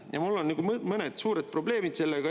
Ja mul on mõned suured probleemid sellega.